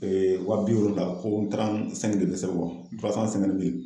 Ee waa bi wɔlonwula ko tirante sɛnki de be sɛbɛ o kan turasan sɛnkante mili